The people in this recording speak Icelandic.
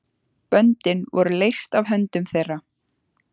Böndin voru leyst af höndum þeirra.